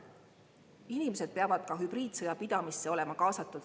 Inimesed peavad ka hübriidsõja pidamisse olema kaasatud.